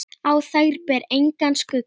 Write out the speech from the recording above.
Á þær ber engan skugga.